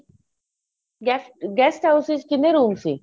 guest guest house ਵਿੱਚ ਕਿੰਨੇ room ਸੀ